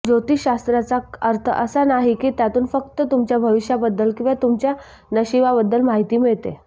ज्योतिषशास्त्राचा अर्थ असा नाही की त्यातून फक्त तुमच्या भविष्याबद्दल किंवा तुमच्या नशिबाबद्दल माहिती मिळते